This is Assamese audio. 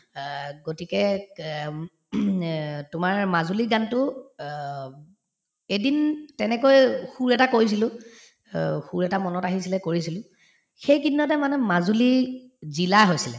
অ, গতিকে কে আম্ এ তোমাৰ মাজুলী গানতো অ উব এদিন তেনেকৈয়ে সুৰ এটা কৰিছিলো অ সুৰ এটা মনত আহিছিলে কৰিছিলো সেই কেইদিনতে মানে মাজুলী জিলা হৈছিলে